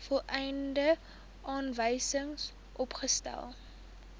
volledige aanwysings opgestel